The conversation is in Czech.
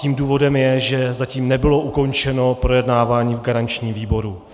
Tím důvodem je, že zatím nebylo ukončeno projednávání v garančním výboru.